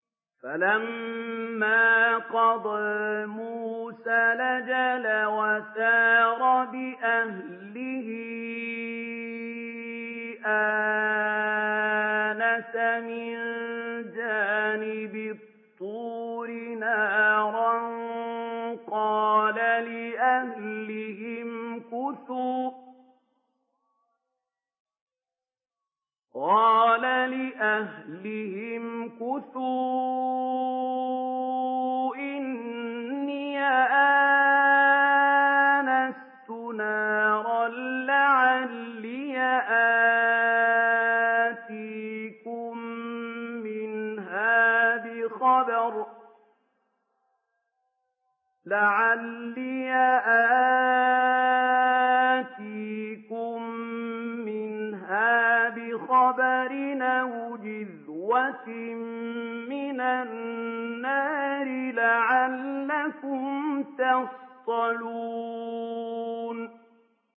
۞ فَلَمَّا قَضَىٰ مُوسَى الْأَجَلَ وَسَارَ بِأَهْلِهِ آنَسَ مِن جَانِبِ الطُّورِ نَارًا قَالَ لِأَهْلِهِ امْكُثُوا إِنِّي آنَسْتُ نَارًا لَّعَلِّي آتِيكُم مِّنْهَا بِخَبَرٍ أَوْ جَذْوَةٍ مِّنَ النَّارِ لَعَلَّكُمْ تَصْطَلُونَ